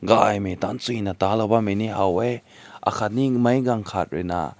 kai rui tan zui na tao lao bam ne haw weh lumna na aakat ne hae aagat rui na.